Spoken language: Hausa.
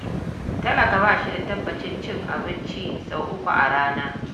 Talaka ba shi da tabbacin cin abincin sau uku a rana.